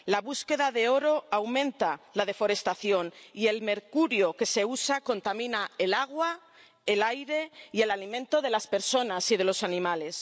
La búsqueda de oro aumenta la deforestación y el mercurio que se usa contamina el agua, el aire y el alimento de las personas y de los animales.